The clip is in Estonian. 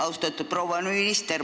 Austatud proua minister!